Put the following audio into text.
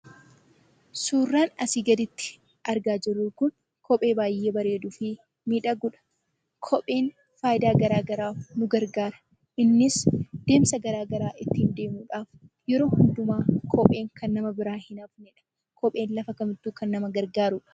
Suuraan asii gaditti argaa jirru kun kophee baay'ee bareeduu fi miidhagudha. Kopheen fayidaa garaagaraaf nu gargaara. Innis deemsa garaagaraa ittiin deemuudhaaf yeroo hundumaa kopheen kan nama biraa hin hafnedha.